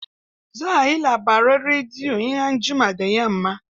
Za a yi labaran rediyo in an jima da yamma.